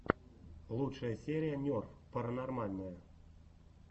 лучшая серия нерв паранормальное